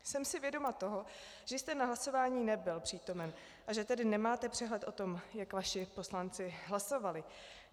Jsem si vědoma toho, že jste na hlasování nebyl přítomen, a že tedy nemáte přehled o tom, jak vaši poslanci hlasovali.